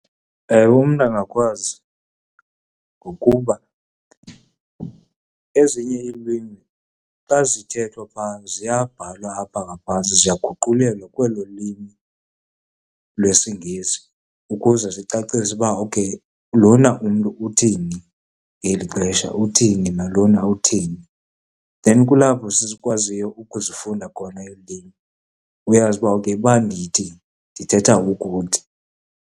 Ewe, umntu angakwazi ngokuba ezinye iilwimi xa zithethwa phaa ziyabhalwa apha ngaphantsi, ziyaguqulelwa kwelo lwimi lwesiNgesi ukuze zicacise ukuba okay lona umntu uthini ngeli xesha, uthini nalona uthini. Then kulapho sikwaziyo ukuzifunda khona iilwimi, uyazi uba okay uba ndithi, ndithetha ukuthi.